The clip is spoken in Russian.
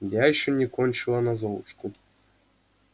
я ещё не кончила на золушку